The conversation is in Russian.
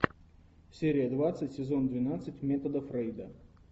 серия двадцать сезон двенадцать метода фрейда